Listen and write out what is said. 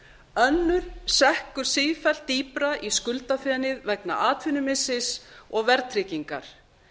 önnur sekkur sífellt dýpra í skuldafenið vegna atvinnumissis og verðtryggingar